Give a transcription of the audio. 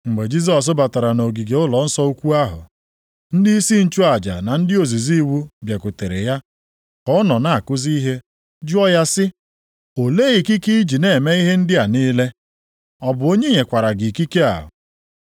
Mgbe Jisọs batara nʼogige ụlọnsọ ukwu ahụ, ndịisi nchụaja na ndị ozizi iwu bịakwutere ya ka ọ nọ na-akụzi ihe jụọ ya sị, “Olee ikike i ji na-eme ihe ndị a niile? Ọ bụ onye nyekwara gị ikike a?”